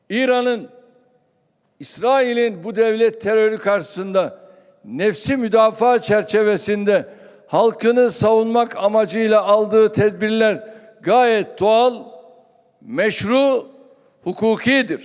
İranın İsrailin bu dövlət terroru qarşısında nəfsi müdafiə çərçivəsində xalqını savummaq amacıyla aldığı tədbirlər qayət doğal, meşru, hukukidir.